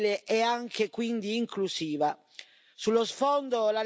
Sullo sfondo, la lettura di quello che è stato il lavoro di questi anni.